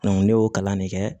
ne y'o kalan de kɛ